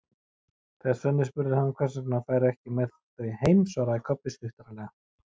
Þegar Svenni spurði hann hvers vegna hann færi ekki með þau heim svaraði Kobbi stuttaralega